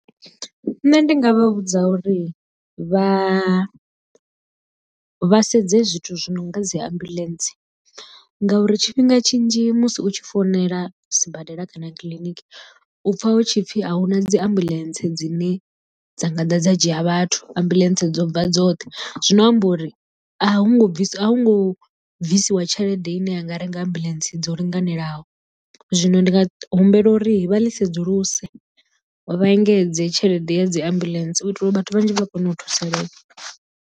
Nṋe ndi nga vha vhudza uri vha vha sedze zwithu zwi no nga dzi ambuḽentse ngauri tshifhinga tshinzhi musi u tshi founela sibadela kana kiḽiniki u pfha hutshipfi a huna dzi ambulence dzine dzanga ḓa dza dzhia vhathu, ambuḽentse dzo bva dzoṱhe zwino amba uri a hu ngo bvisiwa a hu ngo bvisiwa tshelede ine ya nga renga ambuḽentse dzo linganelaho zwino ndi nga humbela uri vha ḽi sedzuluse vha engedze tshelede ya dzi ambuḽentse u itela uri vhathu vhanzhi vha kone u thusalea.